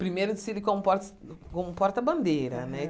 Primeiro desfile como portas como porta-bandeira, né? Aham